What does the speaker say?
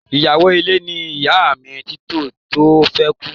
Iyawo ile ni iya mi titi o fi kú.